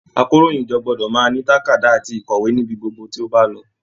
Àkòróyinjọ́ gbọdọ máa ní tàkádá àti ikọwe níbí gbogbo tí o ba lọ.